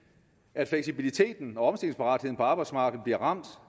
at fleksibiliteten og omstillingsparatheden på arbejdsmarkedet bliver ramt